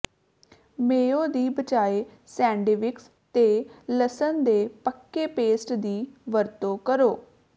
ਮੇਓ ਦੀ ਬਜਾਏ ਸੈਂਡਿਵਿਕਸ ਤੇ ਲਸਣ ਦੇ ਪੱਕੇ ਪੈਸਟ ਦੀ ਵਰਤੋਂ ਕਰੋ